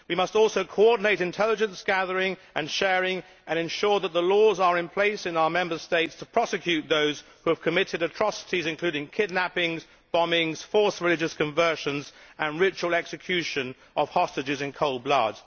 We must also coordinate intelligence gathering and sharing and ensure that the laws are in place in our Member States to prosecute those who have committed atrocities, including kidnappings, bombings, false religious conversions and ritual execution of hostages in cold blood.